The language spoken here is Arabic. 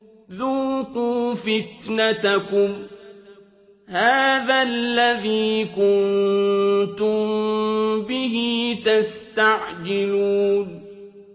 ذُوقُوا فِتْنَتَكُمْ هَٰذَا الَّذِي كُنتُم بِهِ تَسْتَعْجِلُونَ